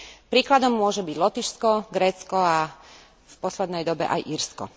Príkladom môže byť Lotyšsko, Grécko a v poslednej dobe aj Írsko.